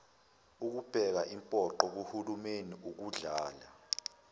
ubeka impoqo kuhulumeniukudlala